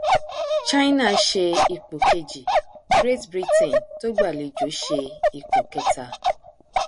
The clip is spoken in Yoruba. china ṣe ipò kejì great britain tó gbàlejò ṣe ipò kẹta